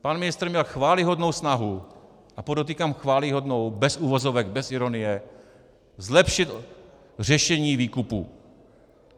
Pan ministr měl chvályhodnou snahu, a podotýkám chvályhodnou bez uvozovek, bez ironie, zlepšit řešení výkupu.